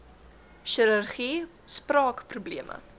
chirurgie spraak probleme